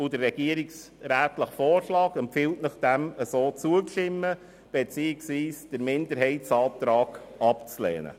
Der regierungsrätliche Vorschlag empfiehlt Ihnen ebenfalls, diesem Ergebnis zuzustimmen beziehungsweise den Minderheitsantrag abzulehnen.